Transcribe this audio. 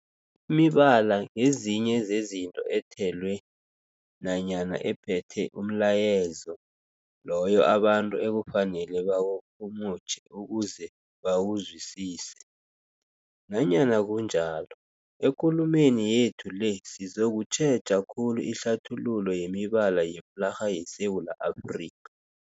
Imibala ngezinye zezinto ethelwe nanyana ephethe umlayezo loyo abantu ekufanele bawurhumutjhe ukuze bawuzwisise. Nanyana kunjalo, ekulumeni yethu le sizokutjheja khulu ihlathululo yemibala yeflarha yeSewula Afrika.